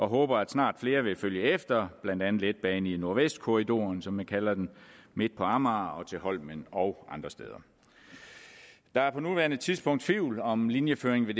håber at snart flere vil følge efter blandt andet en letbane i nordvestkorridoren som man kalder den midt på amager og til holmen og andre steder der er på nuværende tidspunkt tvivl om linjeføringen ved